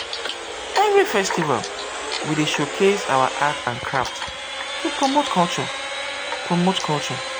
every festival we dey showcase our art and crafts to promote culture. promote culture.